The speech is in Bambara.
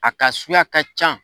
A ka suguya ka ca